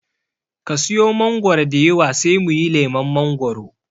Ka siya mangoro diyawa sai muyi lemon mangoro.